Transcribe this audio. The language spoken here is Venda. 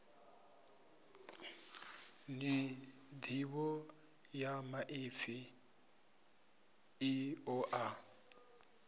nḓivho ya maipfi i ṱoḓa